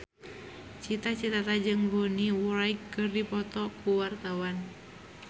Cita Citata jeung Bonnie Wright keur dipoto ku wartawan